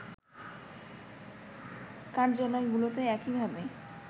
কার্যালগুলোতেও একইভাবে